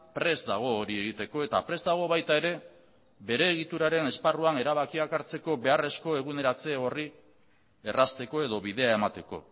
prest dago hori egiteko eta prest dago baita ere bere egituraren esparruan erabakiak hartzeko beharrezko eguneratze horri errazteko edo bidea emateko